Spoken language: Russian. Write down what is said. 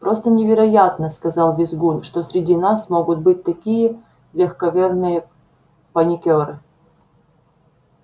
просто невероятно сказал визгун что среди нас могут быть такие легковерные паникёры